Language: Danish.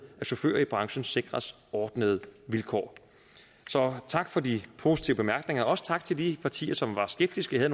at chauffører i branchen sikres ordnede vilkår tak for de positive bemærkninger og også tak til de partier som var skeptiske og